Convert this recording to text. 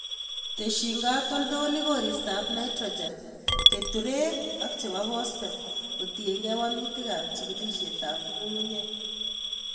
Tesyin katoltolik koristab nitrogen, keturek and chebo phoshate kotiengei wolutikab chikilisietab ng'ung'unyek.